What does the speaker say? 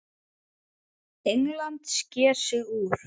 England sker sig úr.